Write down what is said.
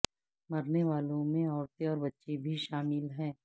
مرنے والوں میں عورتیں اور بچے بھی شامل ہیں